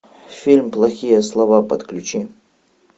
фильм плохие слова подключи